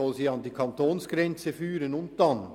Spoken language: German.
Soll sie sie an die Kantonsgrenze führen, und was dann?